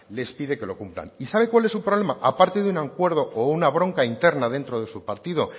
les pide que lo cumplan y sabe cuál es su problema parte de un acuerdo o una bronca interna dentro de su partido